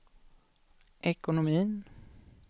ekonomin